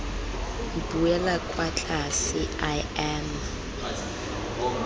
buela kwa tlase i am